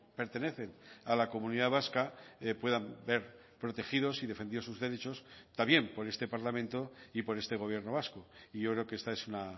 pertenecen a la comunidad vasca puedan ver protegidos y defendidos sus derechos también por este parlamento y por este gobierno vasco y yo creo que esta es una